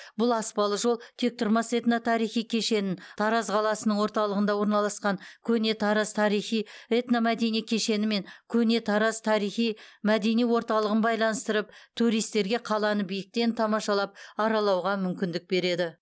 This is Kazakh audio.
бұл аспалы жол тектұрмас этно тарихи кешенін тараз қаласының орталығында орналасқан көне тараз тарихи этномәдени кешені мен көне тараз тарихи мәдени орталығын байланыстырып туристерге қаланы биіктен тамашалап аралауға мүмкіндік береді